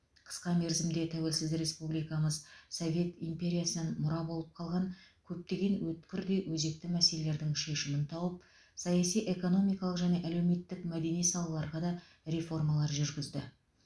қысқа мерзімде тәуелсіз республикамыз совет империясынан мұра болып қалған көптеген өткір де өзекті мәселелердің шешімін тауып саяси экономикалық және әлеуметтік мәдени салаларға да реформалар жүргізді